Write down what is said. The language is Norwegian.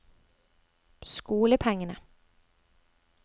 skolepengene